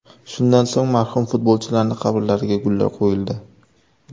Shundan so‘ng marhum futbolchilarning qabrlariga gullar qo‘yildi.